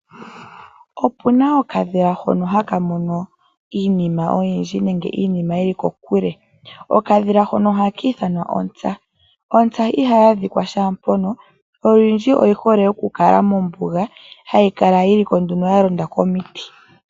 Opu na okadhila hono haka mono iinima oyindji nenge iinima yi li kokule. Okadhila hono ohaka ithanwa kutya ontsa. Ontsa ihayi adhikwa shaa mpono, olundji oyi hole okukala mombuga, hayi kala nduno ya londa komiti.